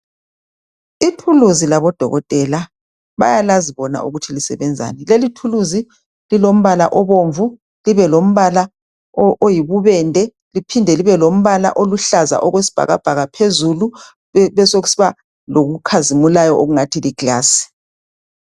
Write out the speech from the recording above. ithuluzi labo dokotela bayalazi bona ukuthi lisebenzani lelithuluzi lilombala obomvu libe lombala oyibubende liphinde libe lombala oyisibhakabhaka phezulu besokusiba lokukhazimulayo okungathi li glass